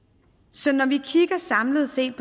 så når vi samlet set